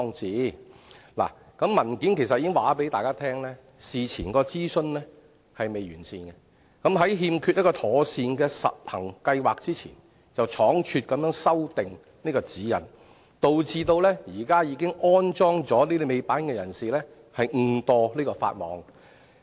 主體答覆其實已經告訴大家，事前的諮詢並不完善，在欠缺一個妥善的實行計劃之前，便倉卒修訂《指引》，導致現時已經安裝尾板的車主誤墮法網。